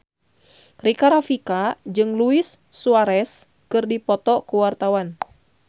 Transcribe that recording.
Rika Rafika jeung Luis Suarez keur dipoto ku wartawan